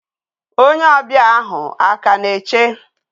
Onye obi a ahu a ka na eche?